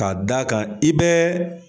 K'a da kan i bɛɛ